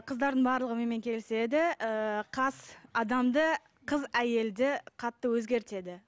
қыздардың барлығы менімен келіседі ыыы қас адамды қыз әйелді қатты өзгертеді